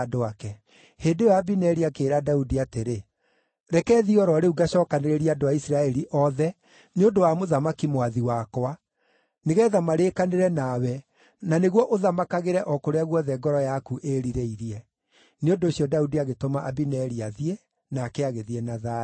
Hĩndĩ ĩyo Abineri akĩĩra Daudi atĩrĩ, “Reke thiĩ o ro rĩu ngacookanĩrĩrie andũ a Isiraeli othe nĩ ũndũ wa mũthamaki mwathi wakwa, nĩgeetha marĩkanĩre nawe, na nĩguo ũthamakagĩre o kũrĩa guothe ngoro yaku ĩĩrirĩirie.” Nĩ ũndũ ũcio Daudi agĩtũma Abineri athiĩ, nake agĩthiĩ na thayũ.